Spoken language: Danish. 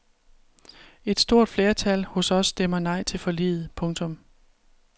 Et stort flertal hos os stemmer nej til forliget. punktum